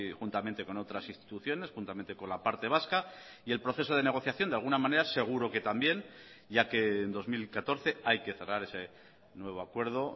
juntamente con otras instituciones juntamente con la parte vasca y el proceso de negociación de alguna manera seguro que también ya que en dos mil catorce hay que cerrar ese nuevo acuerdo